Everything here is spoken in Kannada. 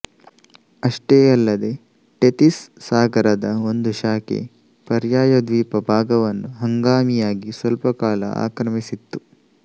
ಅಷ್ಟೇ ಅಲ್ಲದೆ ಟೆತಿಸ್ ಸಾಗರದ ಒಂದು ಶಾಖೆ ಪರ್ಯಾಯದ್ವೀಪ ಭಾಗವನ್ನು ಹಂಗಾಮಿಯಾಗಿ ಸ್ವಲ್ಪಕಾಲ ಆಕ್ರಮಿಸಿತ್ತು